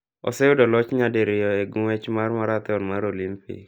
Oseyudo loch nya diriyo e nguech mar marathon mar olimpik.